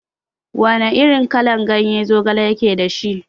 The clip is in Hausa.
Wana irin kalan ganye zogale yake dashi?